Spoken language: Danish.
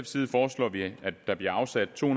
side foreslår vi at der bliver afsat to